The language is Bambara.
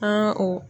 An ka o